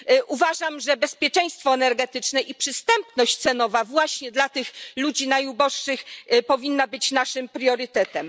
Uważam, że bezpieczeństwo energetyczne i przystępność cenowa właśnie dla tych ludzi najuboższych powinny być naszym priorytetem.